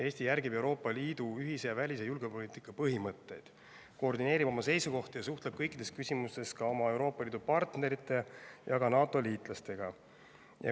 Eesti järgib Euroopa Liidu ühise välis- ja julgeolekupoliitika põhimõtteid, koordineerib oma seisukohti ja suhtleb kõikides küsimustes ka oma Euroopa Liidu partnerite ja NATO liitlastega.